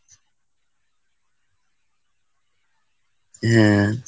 হুম।